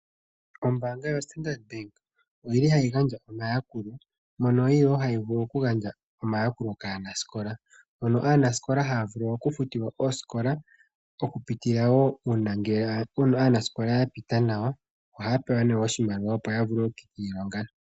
Ombaanga yoStandard Bank oyili hayi gandja omayakulo mono yili wo hayi vulu okugandja omayakulo kaanasikola, mono aanasikola haya vulu okufutilwa oosikola, okupitila wo uuna ngele puna aanasikola yapita nawa, ohaya pewa ne oshimaliwa opo yavule okukiilonga.